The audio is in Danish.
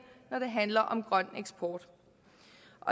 når det handler om grøn eksport